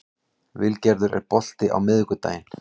Vilgerður, er bolti á miðvikudaginn?